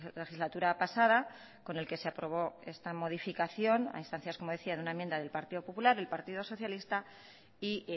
legislatura pasada con el que se aprobó esta modificacióna instancias como decía de una enmienda del partido popular el partido socialista y